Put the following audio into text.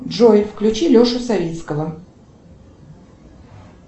джой включи лешу савицкого